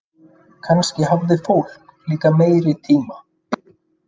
Kannski hafði fólk líka meiri tíma.